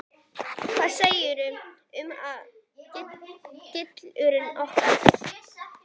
Hvað segirðu um að við grillum nokkrar?